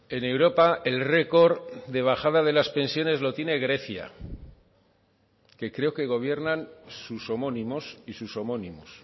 en europa el récord de bajada de las pensiones lo tiene grecia que creo que gobiernan sus homónimos y sus homónimos